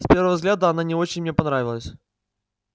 с первого взгляда она не очень мне понравилась